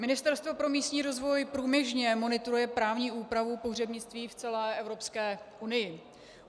Ministerstvo pro místní rozvoj průběžně monitoruje právní úpravu pohřebnictví v celé Evropské unii.